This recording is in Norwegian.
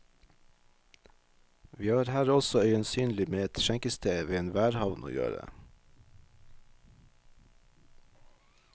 Vi har her også øyensynlig med et skjenkested ved en værhavn å gjøre.